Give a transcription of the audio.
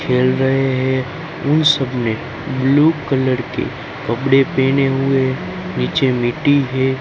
खेल रहे है उ सबने ब्लू कलर के कपड़े पेहने हुए नीचे मिट्टी है।